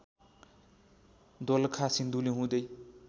दोलखा सिन्धुली हुँदै